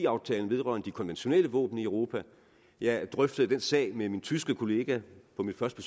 aftalen vedrørende de konventionelle våben i europa jeg drøftede den sag med min tyske kollega på mit første